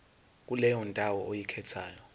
kuleyo ndawo oyikhethayo